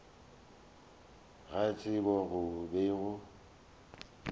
ga tsebo go be go